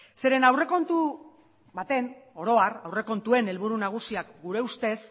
zeren aurrekontu baten oro har aurrekontuen helburu nagusiak gure ustez